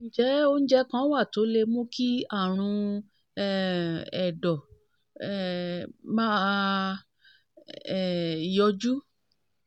ǹjẹ́ oúnjẹ kan wà tó lè mú kí àrùn um ẹ̀dọ̀ um máa um yọjú?